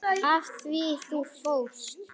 Af því þú fórst.